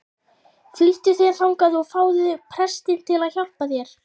Flýttu þér þangað og fáðu prestinn til að hjálpa þér.